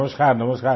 नमस्कार नमस्कार